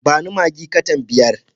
Ba ni maggi katan biyar.